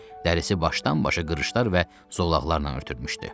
Dərisi başdan-başa qırışlar və zolaqlarla örtülmüşdü.